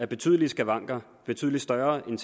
betydelige skavanker betydelig større end